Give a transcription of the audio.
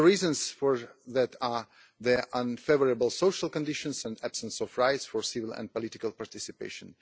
The reasons for that are their unfavourable social conditions and the absence of rights for civil and political participation.